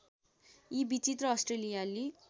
यी विचित्र अस्ट्रेलियाली